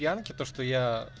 янки то что я